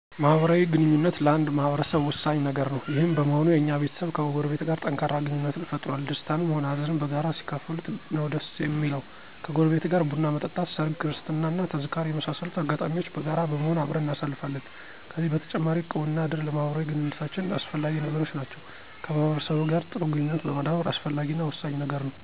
ማህበራዊ ግንኙነት ለአንድ ማህበረሰብ ወሳኝ ነገር ነው። ይህም በመሆኑ የኛም ቤተሰብ ከጎረቤት ጋር ጠንካራ ግንኙነትን ፈጥሮአል። ደስታንም ሆነ ሃዘን በጋራ ሲካፈሉት ነው ደስ እሚለው። ከጎረቤት ጋር ቡን መጠጣት፣ ሰርግ፣ ክርስትና እና ተዝካር የመሳሰሉትን አጋጣሚዎች በጋራ በመሆን አብረን እናሳልፋለን። ከዚህ በተጨማሪ እቁብ እና እድር ለማህበራዊ ግንኙነታችን አስፈላጊ ነገሮች ናቸው። ከማህበረሰቡ ጋር ጥሩ ግንኙነት ማዳበር አስፈላጊ እና ወሳኝ ነገር ነው።